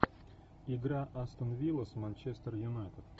игра астон вилла с манчестер юнайтед